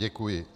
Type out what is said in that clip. Děkuji.